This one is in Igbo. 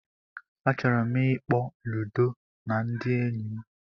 Achọrọ m ịkpọ Ludo na ndị enyi m